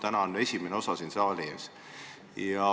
Täna on esimene osa siin saali ees.